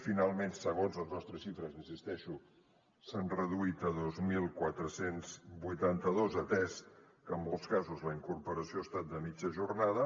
finalment segons les nostres xifres hi insisteixo s’han reduït a dos mil quatre cents i vuitanta dos atès que en molts casos la incorporació ha estat de mitja jornada